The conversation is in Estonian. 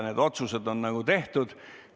Need otsused on tehtud.